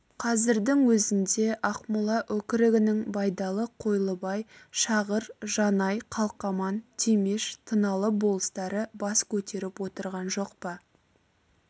қазірдің өзінде ақмола өкірігінің байдалы қойлыбай шағыр жанай қалқаман темеш тыналы болыстары бас көтеріп отырған жоқ па